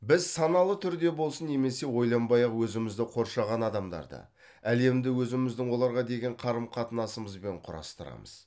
біз саналы түрде болсын немесе ойланбай ақ өзімізді қоршаған адамдарды әлемді өзіміздің оларға деген қарым қатынасымызбен құрастырамыз